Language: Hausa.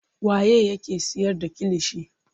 Waye yake siyar da kilishi.